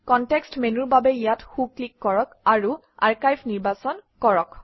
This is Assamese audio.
কনটেক্সট মেনুৰ বাবে ইয়াত সোঁ ক্লিক কৰক আৰু আৰ্কাইভ নিৰ্বাচন কৰক